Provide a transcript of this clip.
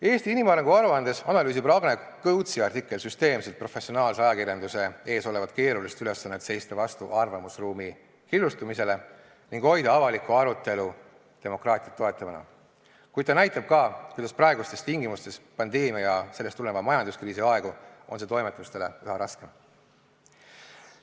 Eesti inimarengu aruandes analüüsib Ragne Kõutsi artikkel süsteemselt professionaalse ajakirjanduse ees olevat keerulist ülesannet seista vastu arvamusruumi killustumisele ning hoida avalikku arutelu demokraatiat toetavana, kuid ta näitab ka, kuidas praegustes tingimustes, pandeemia ja sellest tuleneva majanduskriisi aegu on see toimetustel üha raskem.